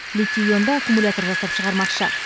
литий ионды аккумуляторлар жасап шығармақшы